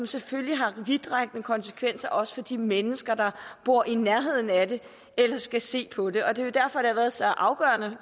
selvfølgelig vidtrækkende konsekvenser også for de mennesker der bor i nærheden af det eller skal se på det og det er derfor været så afgørende